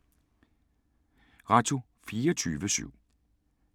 Radio24syv